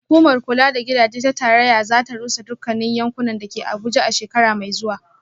Hukumar kula da gidaje ta tarayya za ta rusa dukkan yankunan da ke Abuja a shekara mai zuwa